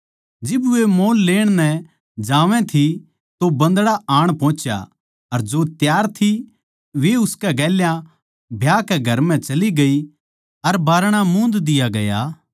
जिब वे मोल लेण नै जावै थी तो बन्दड़ा आण पोहुच्या अर जो त्यार थी वे उसकै गेल्या ब्याह कै घर म्ह चली गई अर बारणा मूंद दिया गया